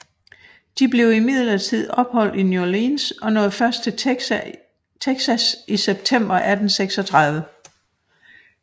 De blev imidlertid opholdt i New Orleans og nåede først til Texas i september 1836